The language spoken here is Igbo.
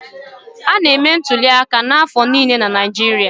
A na-eme ntụli aka n'afọ niile na Naijiria.